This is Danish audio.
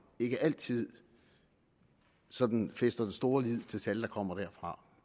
ikke altid sådan fæster den store lid til tal der kommer derfra